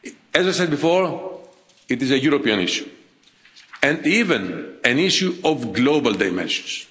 built. As I said before, it is a European issue and even an issue of global dimensions.